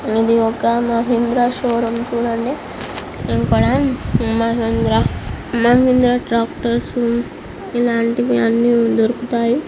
ఇది ఒక మహీంద్రా షోరూం చూడండి. ఇక్కడ మహీంద్రా మహీంద్రా ట్రాక్టర్స్ ఇలాంటివి అన్నీ దొరుకుతాయి.